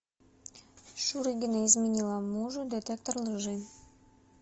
шурыгина изменила мужу детектор лжи